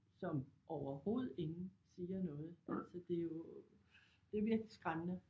Som overhovedet ingen siger noget så det jo det er virkelig skræmmende